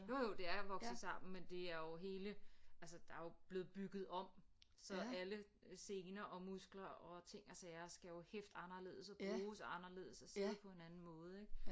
Jo jo det er vokset sammen men det er jo hele altså der er jo blevet bygget om så alle sener og muskler og ting og sager skal jo hæfte anderledes og bruges anderledes og sidde på en anden måde ik